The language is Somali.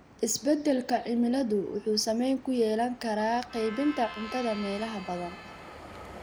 Isbedelka cimiladu wuxuu saameyn ku yeelan karaa qaybinta cuntada meelaha badan.